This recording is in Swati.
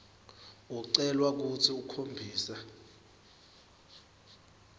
ucelwa kutsi ukhombise